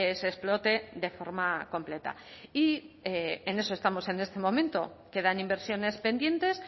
se explote de forma completa y en eso estamos en este momento quedan inversiones pendientes